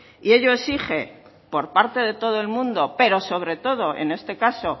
y ello exige por parte de todo el mundo pero sobre todo en este caso